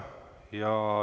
Kohtume homme.